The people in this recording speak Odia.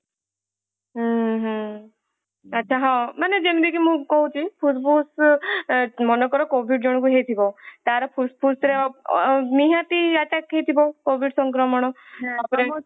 ହୁଁ ହୁଁ ଆଚ୍ଛା ହଁ ମାନେ ଯେମିତି କି ମୁଁ କହୁଛି ଫୁସଫୁସ ମନେକର covid ଜଣଙ୍କୁ ହେଇଥିବ ତାର ଫୁସଫୁସ ରେ ଅ ଅ ନିହାତି attack ହେଇଥିବ covid ସଂକ୍ରମଣତାପରେ